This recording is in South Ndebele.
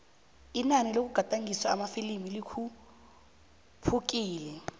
inani lokugadangiswa kwamafilimu likhuphukile